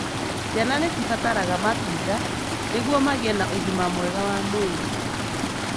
Ciana nĩcibataraga matunda nĩguo magĩe na ũgima mwega wa mwĩrĩ.